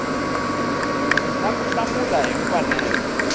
na ku hlamula hi mfanelo